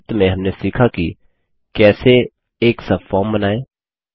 संक्षिप्त में हमने सीखा कि कैसे एक सबफोर्म बनाएँ